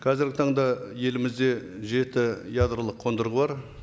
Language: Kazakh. қазіргі таңда елімізде жеті ядролық қондырғы бар